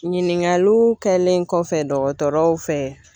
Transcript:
Ɲiningaliw kɛlen kɔfɛ dɔgɔtɔrɔw fɛ